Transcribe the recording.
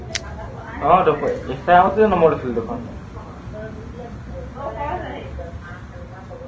আহ টো ইন্সট্ৰাগাৰটোৱে number দিছিলো দেখোন